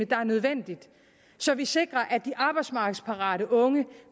der er nødvendig så vi sikrer at de arbejdsmarkedsparate unge